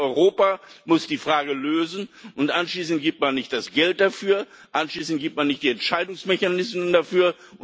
Man kann nicht sagen Europa muss die Frage lösen, und anschließend gibt man nicht das Geld dafür, anschließend gibt man nicht die Entscheidungsmechanismen dafür.